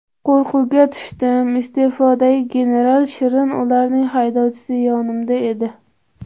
Qo‘rquvga tushdim iste’fodagi general Shirin Unalning haydovchisi yonimda edi.